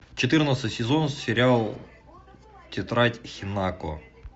четырнадцатый сезон сериал тетрадь хинако